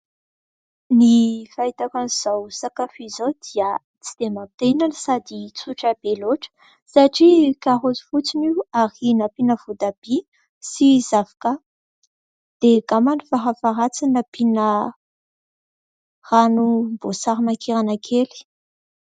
Ny fahitako an'izao sakafo izao dia tsy dia maha te hihinana, sady tsotra be loatra, satria karoty fotsiny io ary nampiana voatabia sy zavoka ; dia angamba farafaharatsiny nampiana ranom-boasarimakirana kely.